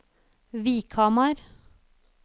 Vikhamar